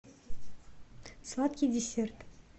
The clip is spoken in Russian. сладкий десерт